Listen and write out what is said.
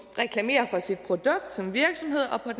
reklamere for sit produkt som virksomhed og